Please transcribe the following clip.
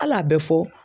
Hali a bɛ fɔ